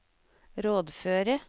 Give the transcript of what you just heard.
rådføre